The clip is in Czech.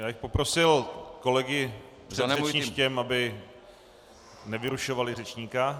Já bych poprosil kolegy před řečništěm, aby nevyrušovali řečníka.